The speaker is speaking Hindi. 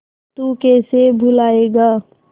तू कैसे भूलाएगा